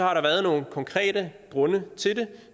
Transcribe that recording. har der været nogle konkrete grunde til det